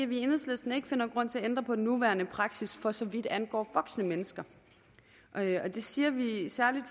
vi i enhedslisten ikke finder grund til at ændre på den nuværende praksis for så vidt angår voksne mennesker det siger vi især